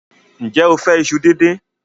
Ǹjẹ́ o fẹ́ iṣu díndín?